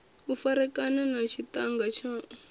u farekana na tshiṱhannga tshaṋu